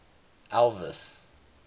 elvis